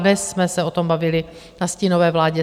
Dnes jsme se o tom bavili na stínové vládě.